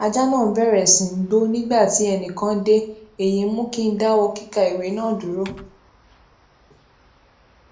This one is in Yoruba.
ajá náà bèrè sí í gbó nígbà tí ẹnì kan dé èyí mú kí n dáwó kíka ìwé náà dúró